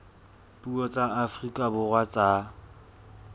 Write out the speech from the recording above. dipuo tsa afrika borwa tsa